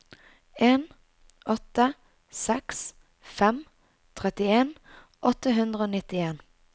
en åtte seks fem trettien åtte hundre og nittien